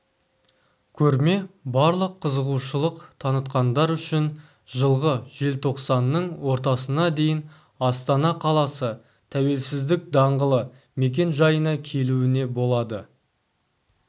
көрме барлық қызығушылық танытқандар үшін жылғы желтоқсанның ортасына дейін астана қаласы тәуелсіздік даңғылы мекен-жайына келеуіне болады